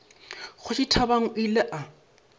kgoši thabang o ile a